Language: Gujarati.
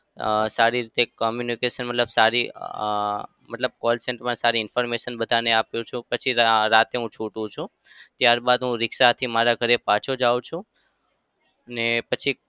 અમ સારી રીતે communication મતલબ સારી અમ મતલબ call center મા સારી information બધાને આપું છું. પછી રાતે હું છૂટું છું. ત્યારબાદ રીક્ષાથી હું મારા ઘરે પાછો જાઉં છું ને પછી